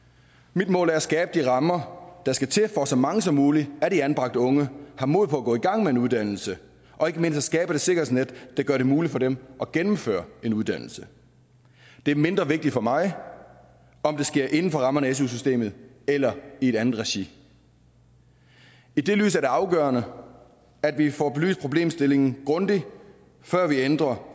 mit mål er at skabe de rammer der skal til for at så mange som muligt af de anbragte unge har mod på at gå i gang med en uddannelse og ikke mindst at skabe det sikkerhedsnet der gør det muligt for dem at gennemføre en uddannelse det er mindre vigtigt for mig om det sker inden for rammerne af su systemet eller i et andet regi i det lys er det afgørende at vi får belyst problemstillingen grundigt før vi ændrer